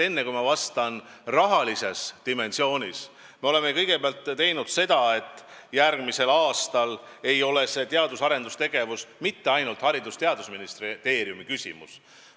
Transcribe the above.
Enne, kui ma lähen rahalise dimensiooni juurde, ütlen, et järgmisel aastal ei ole teadus- ja arendustegevus mitte ainult Haridus- ja Teadusministeeriumi küsimus.